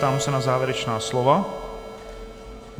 Ptám se na závěrečná slova.